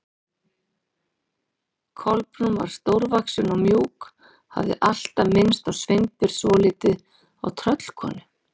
Kolbrún var stórvaxin og mjúk, hafði alltaf minnt Sveinbjörn svolítið á tröllkonu.